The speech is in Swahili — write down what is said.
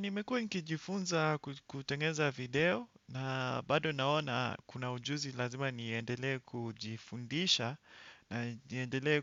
Nimekuwa nikijifunza kutengeza video na bado naona kuna ujuzi lazima niendelee kujifundisha na niendelee